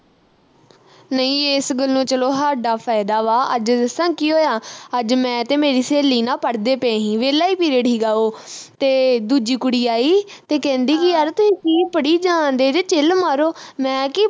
ਨਹੀਂ ਇਸ ਗੱਲੋਂ ਚੱਲੋ ਹਾਡਾ ਫਾਇਦਾ ਵਾਂ ਅੱਜ ਦੱਸਾ ਕੀ ਹੋਇਆ ਅੱਜ ਮੈਂ ਤੇ ਮੇਰੀ ਸਹੇਲੀ ਨਾ ਪੜਦੇ ਪਏ ਹੀ ਵਿਹਲਾ ਈ period ਹੀਗਾ ਓਹ ਤੇ ਦੂਜੀ ਕੁੜੀ ਆਈ ਤੇ ਕਹਿੰਦੀ ਕਿ ਯਾਰ ਤੁਹੀਂ ਕੀ ਪੜੀ ਜਾਂਣਦੇ chill ਮਾਰੋ। ਮੈ ਕਿ